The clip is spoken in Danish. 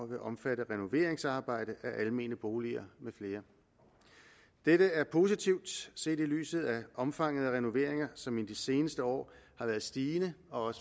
vil omfatte renoveringsarbejde af almene boliger med flere dette er positivt set i lyset af omfanget af renoveringer som i de seneste år har været stigende og